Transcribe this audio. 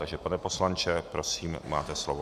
Takže pane poslanče, prosím, máte slovo.